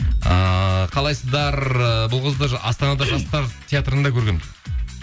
ыыы қалайсыздар ыыы бұл қызды астанада жастар театрында көргенмін